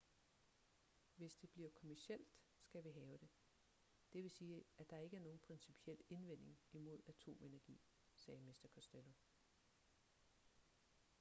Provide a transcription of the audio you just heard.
hvis det bliver kommercielt skal vi have det det vil sige at der ikke er nogen principiel indvending imod atomenergi sagde mr costello